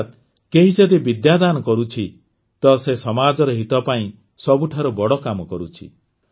ଅର୍ଥାତ୍ କେହି ଯଦି ବିଦ୍ୟାଦାନ କରୁଛି ତ ସେ ସମାଜର ହିତ ପାଇଁ ସବୁଠାରୁ ବଡ଼ କାମ କରୁଛି